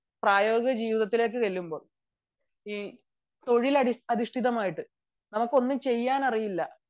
പ്രായോഗിക ജീവിതത്തിൽ തൊഴിൽ അധിഷ്ഠിതമായിട്ടു നമുക്ക് ഒന്ന് ചെയ്യാൻ അറിയില്ല